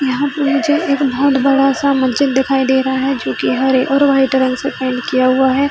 यहाँ पे है जो एक बहोत बड़ा-सा मस्जिद दिखाई दे रहा है जोकी हरे और वाइट रंग से पेंट किया हुआ है।